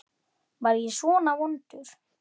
Þú verður seint biskup!